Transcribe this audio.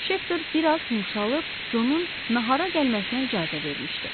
Şefter biraz yumşalıb Conun nahara gəlməsinə icazə vermişdi.